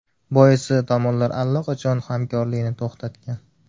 Boisi tomonlar allaqachon hamkorlikni to‘xtatgan.